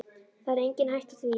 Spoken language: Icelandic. Það er engin hætta á því.